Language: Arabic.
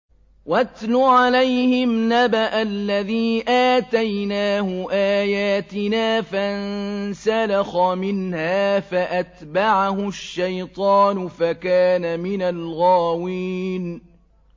وَاتْلُ عَلَيْهِمْ نَبَأَ الَّذِي آتَيْنَاهُ آيَاتِنَا فَانسَلَخَ مِنْهَا فَأَتْبَعَهُ الشَّيْطَانُ فَكَانَ مِنَ الْغَاوِينَ